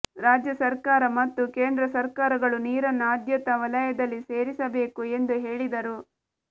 ರಾಜ್ಯ ಸರ್ಕಾರ ಮತ್ತು ಕೇಂದ್ರ ಸರ್ಕಾರಗಳು ನೀರನ್ನ ಆದ್ಯತ ವಲಯದಲ್ಲಿ ಸೇರಿಸಬೇಕು ಎಂದು ಹೇಳಿದರು